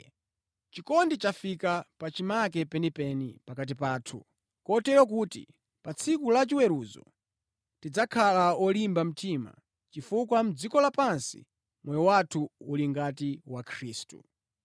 Chikondi chafika pachimake penipeni pakati pathu, kotero kuti pa tsiku lachiweruzo tidzakhala olimba mtima chifukwa mʼdziko lapansi moyo wathu uli ngati wa Khristu.